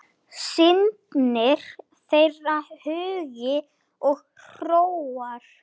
Steinka getur hjálpað okkur